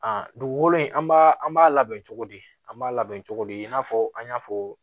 A dugukolo in an b'a an b'a labɛn cogo di an b'a labɛn cogo di i n'a fɔ an y'a fɔ